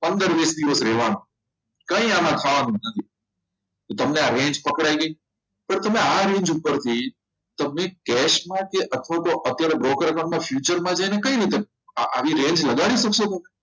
પંદર વીસ દિવસ રહેવાનું કઈ આવવા થવાનું નથી તમને આ range પકડાઈ ગઈ તો તમે આ range ઉપરથી તમે કેસમાં કે અથવા અત્યારે broker નંબર future જઈને કઈ રીતે આવી range લગાડી શકશો